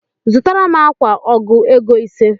Zụtara m akwa ọgụ ego ise